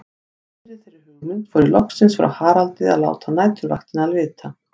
Í miðri þeirri hugmynd fór ég loksins frá Haraldi að láta næturvaktina vita.